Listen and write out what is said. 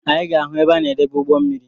Anyị ga-ahụ ebe a na edebe ugbommiri